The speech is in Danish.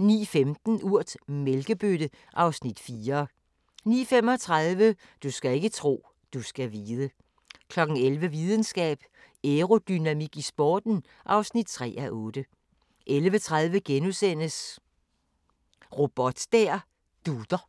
09:15: Urt: Mælkebøtte (Afs. 4) 09:35: Du skal ikke tro, du skal vide 11:00: Videnskab: Aerodynamik i sporten (3:8) 11:30: Robot der dutter *